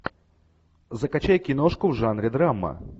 закачай киношку в жанре драма